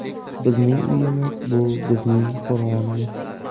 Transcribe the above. Bizning uyimiz – bu bizning qo‘rg‘onimiz.